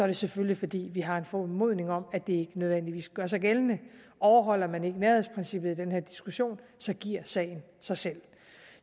det selvfølgelig fordi vi har en formodning om at det ikke nødvendigvis gør sig gældende overholder man ikke nærhedsprincippet i den her diskussion giver sagen sig selv